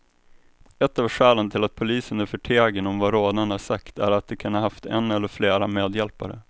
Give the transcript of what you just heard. Ett av skälen till att polisen är förtegen om vad rånarna sagt är att de kan ha haft en eller flera medhjälpare.